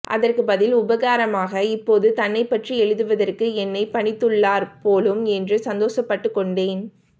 அதற்கு பதில் உபகாரமாக இப்போது தன்னைப்பற்றி எழுதுவதற்கு என்னை பணித்துள்ளார் போலும் என்று சந்தோஷப்பட்டுக் கொண்டேன்